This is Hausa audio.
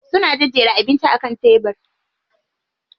Suna jejjera abincin a kan tebiri.